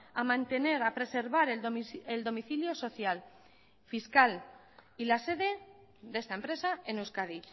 a mantener a preservar el domicilio social fiscal y la sede de esta empresa en euskadi